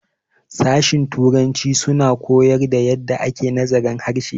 sashen Turanci suna koyar da yadda ake nazarin harshe